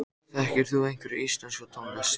Þekkir þú einhverja íslenska tónlist?